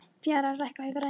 Fjalar, lækkaðu í græjunum.